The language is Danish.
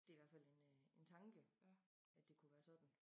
Det i hvert fald en øh en tanke at det kunne være sådan